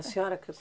A senhora que